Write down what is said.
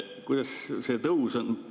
Kuidas see tõus on?